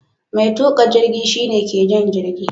Mai tuka jirgi shi ne ke jan jirgi.